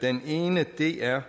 den ene er